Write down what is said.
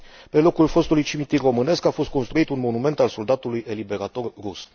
Pe locul fostului cimitir românesc a fost construit un monument al soldatului eliberator rus.